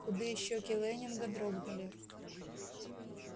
худые щеки лэннинга дрогнули